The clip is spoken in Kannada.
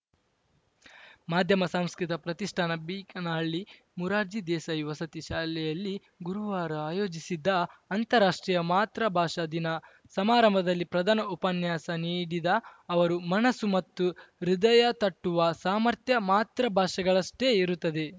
ಮಾಧ್ಯಮ ಸಂಸ್ಕೃತಿ ಪ್ರತಿಷ್ಠಾನ ಬೀಕನಹಳ್ಳಿ ಮೊರಾರ್ಜಿ ದೇಸಾಯಿ ವಸತಿ ಶಾಲೆಯಲ್ಲಿ ಗುರುವಾರ ಆಯೋಜಿಸಿದ್ದ ಅಂತಾರಾಷ್ಟ್ರೀಯ ಮಾತೃಭಾಷಾ ದಿನ ಸಮಾರಂಭದಲ್ಲಿ ಪ್ರಧಾನ ಉಪನ್ಯಾಸ ನೀಡಿದ ಅವರು ಮನಸ್ಸು ಮತ್ತು ಹೃದಯತಟ್ಟುವ ಸಾಮರ್ಥ್ಯ ಮಾತೃಭಾಷೆಗಷ್ಟೇ ಇರುತ್ತದೆ